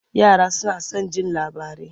Yara suna son jin labarai.